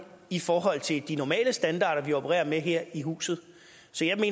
i forhold til de normale standarder vi opererer med her i huset